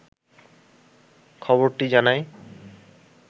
খবরটি জানায়